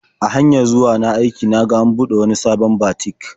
A hanyar zuwa na aiki na ga an buɗe wani sabon batik.